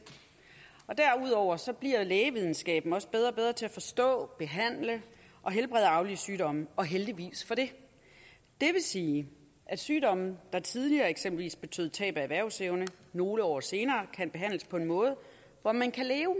derudover bliver lægevidenskaben også bedre og bedre til at forstå behandle og helbrede arvelige sygdomme og heldigvis for det det vil sige at sygdomme der tidligere eksempelvis betød tab af erhvervsevne nogle år senere kan behandles på en måde hvor man kan leve